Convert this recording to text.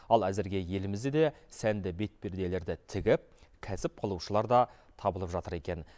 ал әзірге елімізде де сәнді бетперделерді тігіп кәсіп қылушылар да табылып жатыр екен